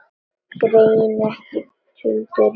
Greini ekki tuldur Júlíu.